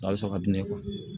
A bɛ sɔn ka di ne ma